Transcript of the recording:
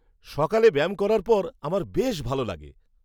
সকালে ব্যায়াম করার পর, আমার বেশ ভালো লাগে।